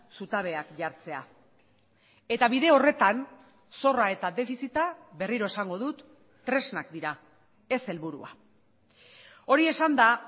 zutabeak jartzea eta bide horretan zorra eta defizita berriro esango dut tresnak dira ez helburua hori esanda